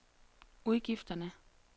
udgifterne